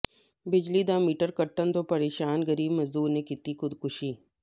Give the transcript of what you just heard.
ਬਿਜ਼ਲੀ ਦਾ ਮੀਟਰ ਕੱਟਣ ਤੋਂ ਪ੍ਰੇਸ਼ਾਨ ਗਰੀਬ ਮਜ਼ਦੂਰ ਨੇ ਕੀਤੀ ਖੁਦਕੁਸ਼ੀ